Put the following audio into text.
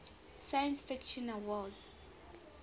science fiction awards